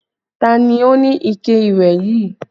Ta ni ó ní ike ìwẹ̀ yìí?